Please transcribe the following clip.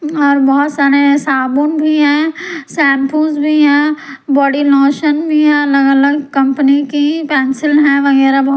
और बहुत सारे साबुन भी है शैंपूज भी है बॉडी लोशन भी है अलग-अलग कंपनी की पेंसिल है वगैरह बहू --